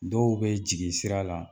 Dɔw bɛ jigi sira la